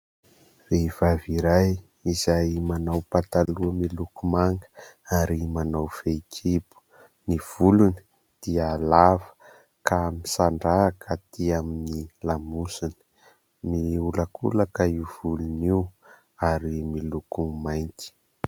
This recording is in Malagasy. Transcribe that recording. Vehivavy iray izay manao pataloha miloko manga ary manao fehikibo, ny volony dia lava ka misandrahaka atỳ amin'ny lamosiny, miolakolaka io volony io ary miloko mainty.